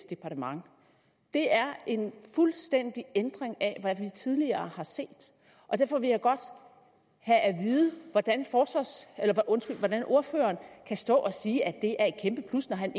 departement det er en fuldstændig ændring af hvad vi tidligere har set derfor vil jeg godt have at vide hvordan hvordan ordføreren kan stå og sige at det er et kæmpe plus når han